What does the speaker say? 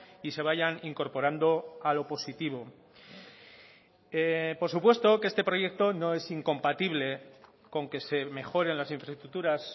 y se vayan incorporando a lo positivo por supuesto que este proyecto no es incompatible con que se mejoren las infraestructuras